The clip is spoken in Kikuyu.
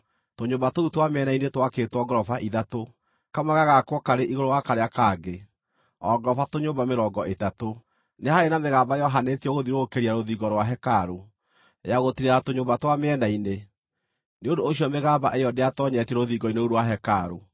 Tũnyũmba tũu twa mĩena-inĩ twakĩtwo ngoroba ithatũ, kamwe gagakwo karĩ igũrũ wa karĩa kangĩ, o ngoroba tũnyũmba mĩrongo ĩtatũ. Nĩ haarĩ na mĩgamba yohanĩtio gũthiũrũrũkĩria rũthingo rwa hekarũ, ya gũtiirĩrĩra tũnyũmba twa mĩena-inĩ; nĩ ũndũ ũcio mĩgamba ĩyo ndĩatoonyetio rũthingo-inĩ rũu rwa hekarũ.